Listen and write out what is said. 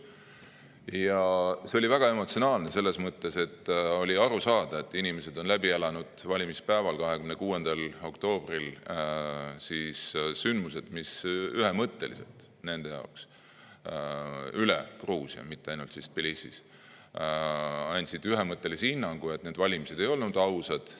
Ja see oli väga emotsionaalne, just selles mõttes, et oli aru saada, et inimesed on valimispäeval, 26. oktoobril siis, läbi elanud üle kogu Gruusia, mitte ainult Tbilisis, sündmused, mille kohta nad andsid ühemõttelise hinnangu, et need valimised ei olnud ausad.